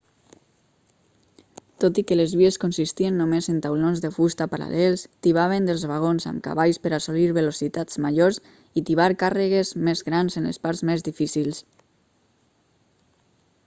tot i que les vies consistien només en taulons de fusta paral·lels tibaven dels vagons amb cavalls per assolir velocitats majors i tibar càrregues més grans en les parts més difícils